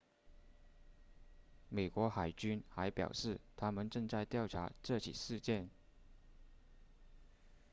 美国海军还表示他们正在调查这起事件